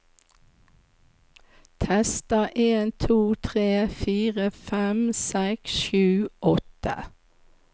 Tester en to tre fire fem seks sju åtte